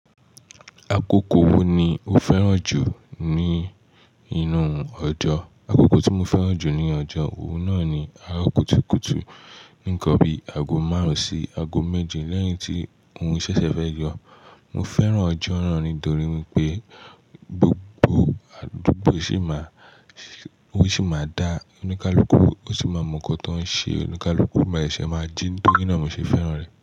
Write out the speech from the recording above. Akoko wo ni o fẹràn jù ní inú ọjọ́? Akoko tí mo fẹ́ràn jù ní ọjọ́, òun náà ni àárọ̀ kùtùkùtù, nkan bí aago márùn-ún sí aago méje lẹ́yìn tí òrun ṣẹ̀ṣẹ̀ fẹ́ yọ. Mo fẹ́ràn ọjọ́ náà nítorí wi pé gbogbo àdúgbò sì máa, òun sì máa dá, oníkálukú ó sì máa mọ̀ nǹkan tó ń ṣe, oníkálukú máa ṣẹ̀ṣẹ̀ máa jín torí náà mo ṣe fẹ́ràn rẹ̀.